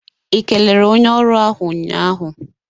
I kelere onye ọrụ ahụ nnya ahụ?